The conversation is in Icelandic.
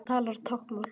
Hann talar táknmál.